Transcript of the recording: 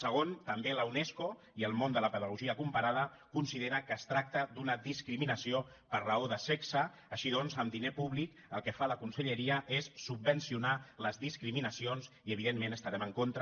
segon també la unesco i el món de la pedagogia comparada consideren que es tracta d’una discriminació per raó de sexe així doncs amb diner públic el que fa la conselleria és subvencionar les discriminacions i evidentment hi estarem en contra